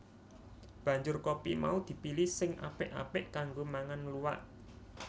Banjur kopi mau dipilihi sing apik apik kanggo mangan luwak